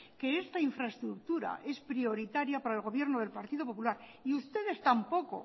que esta infraestructura es prioritaria para el gobierno del partido popular y ustedes tampoco